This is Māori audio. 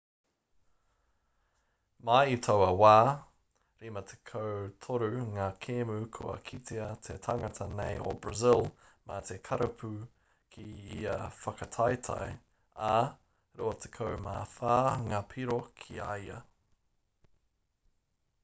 mai i taua wā 53 ngā kēmu kua kitea te tangata nei o brazil mā te karapu ki ia whakataetae ā 24 ngā piro ki a ia